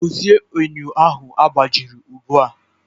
Dozie enyo ahụ agbajiri ugbu a!